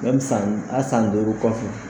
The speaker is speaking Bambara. san a san duuru kɔfɛ